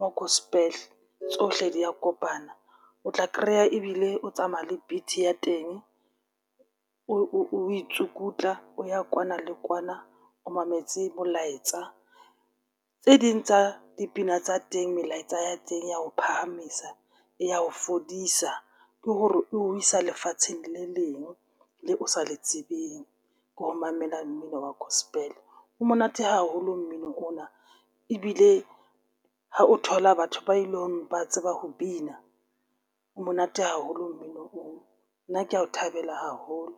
wa gospel tsohle di a kopana. O tla kreya ebile o tsamaya le beat ya teng, o itsukutla o ya kwana le kwana o mametse molaetsa. Tse ding tsa dipina tsa teng. Melaetsa ya teng ya ho phahamisa e ya ho fodisa, ke hore o isa lefatsheng le leng le o sa le tsebeng ka ho mamela mmino wa gospel. O monate haholo nmino ona, ebile ha o thola batho ba ileng ba tseba ho bina o monate haholo mmino oo. Nna ke ya o thabela haholo.